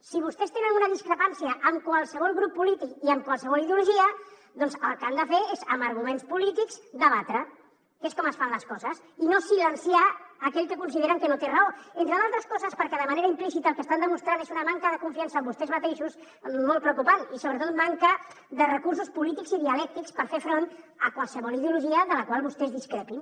si vostès tenen una discrepància amb qualsevol grup polític i amb qualsevol ideologia doncs el que han de fer és amb arguments polítics debatre que és com es fan les coses i no silenciar aquell que consideren que no té raó entre d’altres coses perquè de manera implícita el que estan demostrant és una manca de confiança en vostès mateixos molt preocupant i sobretot manca de recursos polítics i dialèctics per fer front a qualsevol ideologia de la qual vostès discrepin